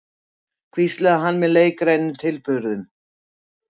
hvíslaði hann með leikrænum tilburðum.